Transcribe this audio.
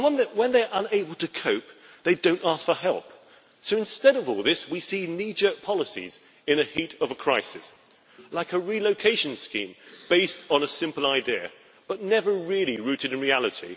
When they are unable to cope, they do not ask for help. So instead of all this we see kneejerk policies in the heat of a crisis, like a relocation scheme based on a simple idea but never really rooted in reality.